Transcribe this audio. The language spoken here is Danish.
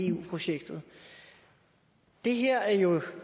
eu projektet det her er jo